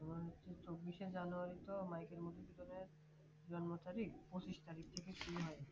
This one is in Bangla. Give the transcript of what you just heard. আবার হৈছে চব্বিশশে জানুয়ারি তো মাইকেল মধুসূদনের জন্ম তারিখ পঁচিশ তারিখ থেকে শুরু হয়